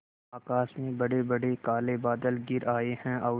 आकाश में बड़ेबड़े काले बादल घिर आए हैं और